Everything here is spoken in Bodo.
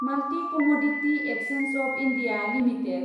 multi commodity exchange of India limited